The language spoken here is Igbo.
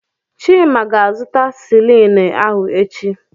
Chima ga-azụta silini ahụ echi.